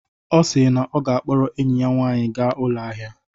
Ọ si na ọ ga-akpọrọ enyi ya nwaanyị gaa ụlọ ahịa